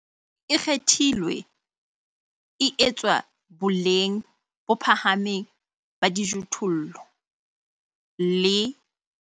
E kgethilwe e etswa bolenng bo phahameng ba dijothollo, le